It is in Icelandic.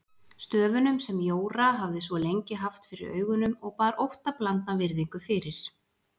Stöfunum sem Jóra hafði svo lengi haft fyrir augunum og bar óttablandna virðingu fyrir.